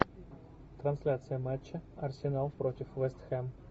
трансляция матча арсенал против вест хэм